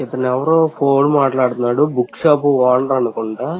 ఇతను ఎవరో ఫోన్ మాట్లాడుతున్నాడు. బుక్ షాప్ ఓనర్ అనుకుంటా.